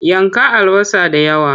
Yanka albasa da yawa!